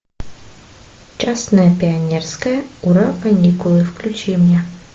честное пионерское ура каникулы включи мне